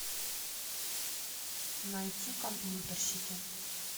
найти компьютерщики